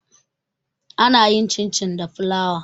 ana yin cin- cin da fulawa